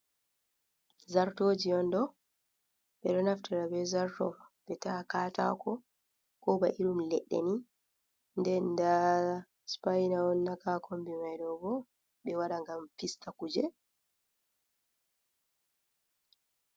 Zartoji on ɗo ɓeɗo naftira ɓe zarto ɓe ta'a katako ko ba irum leɗɗe ni den daa sipaina on naka ha konbi mai ɗo bo ɓe waɗa ngam fista kuje.